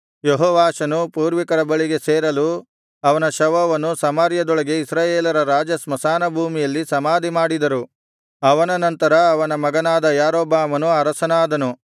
ಯೆಹೋವಾಷನು ಪೂರ್ವಿಕರ ಬಳಿಗೆ ಸೇರಲು ಅವನ ಶವವನ್ನು ಸಮಾರ್ಯದೊಳಗೆ ಇಸ್ರಾಯೇಲರ ರಾಜಸ್ಮಶಾನಭೂಮಿಯಲ್ಲಿ ಸಮಾಧಿಮಾಡಿದರು ಅವನ ನಂತರ ಅವನ ಮಗನಾದ ಯಾರೊಬ್ಬಾಮನು ಅರಸನಾದನು